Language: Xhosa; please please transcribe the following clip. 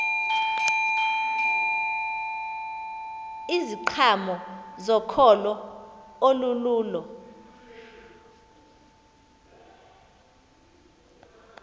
iziqhamo zokholo olululo